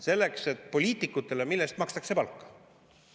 Mille eest poliitikutele palka makstakse?